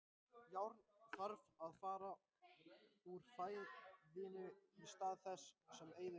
Járn þarf að fá úr fæðinu í stað þess sem eyðist daglega.